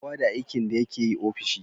Kowa da aikin da yakeyi ofishi